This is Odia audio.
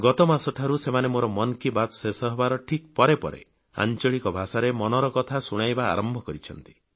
ଗତମାସ ଠାରୁ ସେମାନେ ମୋର ମନ୍ କି ବାତ୍ ଶେଷ ହେବାର ଠିକ୍ ପରେ ପରେ ଆଂଚଳିକ ଭାଷାରେ ଏହା ଶୁଣାଇବା ଆରମ୍ଭ କରିଛନ୍ତି